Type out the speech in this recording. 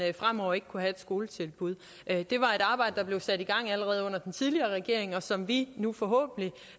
fremover ikke kunne have et skoletilbud det var et arbejde der blev sat i gang allerede under den tidligere regering og som vi nu forhåbentlig